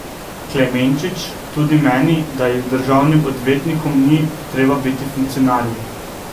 Klemenčič tudi meni, da državnim odvetnikom ni treba biti funkcionarji.